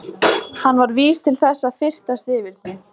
Hún var vís til þess að fyrtast yfir því.